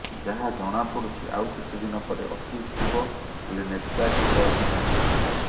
ଯାହା ଜଣାପଡୁଛି ଆଉ କିଛି ଦିନ ପରେ ଅଫିସ୍ ଥିବ ହେଲେ ନେତା କି କର୍ମୀ ନଥିବେ